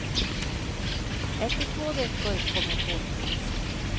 Efter två veckor kom en påminnelse.